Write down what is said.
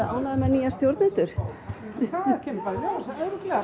ánægðar með nýja stjórnendur það kemur